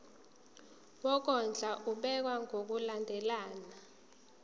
wokondla ubekwa ngokulandlela